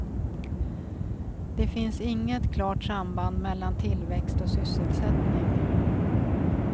Det finns inget klart samband mellan tillväxt och sysselsättning.